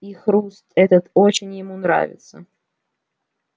и хруст этот очень ему нравится